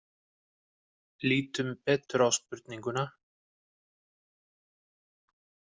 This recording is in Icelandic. Lítum betur á spurninguna.